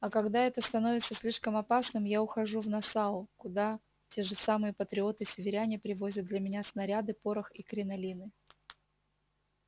а когда это становится слишком опасным я ухожу в нассау куда те же самые патриоты-северяне привозят для меня снаряды порох и кринолины